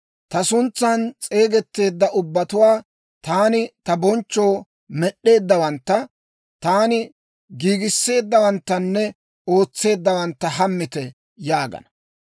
ta suntsan s'eegetteedda ubbatuwaa, taani ta bonchchoo med'd'eeddawantta, taani giigisseeddawanttanne ootseeddawantta hammite» yaagana.